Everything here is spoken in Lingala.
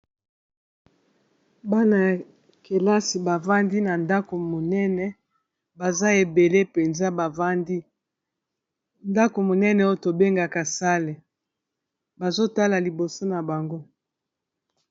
bana ya kelasi bavandi na ndako monene baza ebele mpenza bavandi ndako monene oyo tobengaka sale bazotala liboso na bango